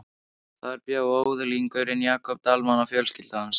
Þar bjó öðlingurinn Jakob Dalmann og fjölskylda hans.